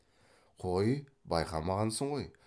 қой байқамағансың ғой